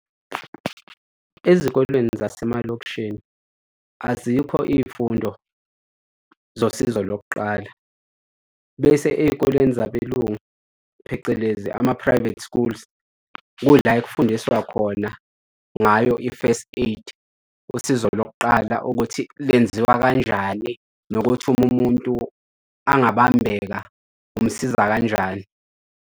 Ezikoleni zasemalokishini azikho iy'fundo zosizo lokuqala, bese ey'koleni zabelungu phecelezi ama-private schools kuyila okufundiswa khona ngayo i-first aid, usizo lokuqala ukuthi lenziwa kanjani, nokuthi uma umuntu angabambeka, umsiza kanjani.